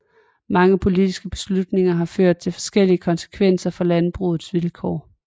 Mange politiske beslutninger har ført til forskellige konsekvenser for landbrugets vilkår